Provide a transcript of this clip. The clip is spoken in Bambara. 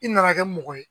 I nana kɛ mɔgɔ ye